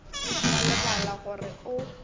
o a lebala gore o